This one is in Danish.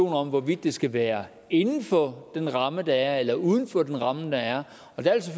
om hvorvidt det skal være inden for den ramme der er eller uden for den ramme der er og der